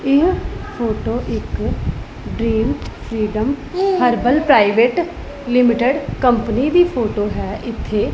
ਇਹ ਫੋਟੋ ਇੱਕ dream freedom herbal private limited company ਦੀ ਫੋਟੋ ਹੈ। ਇੱਥੇ --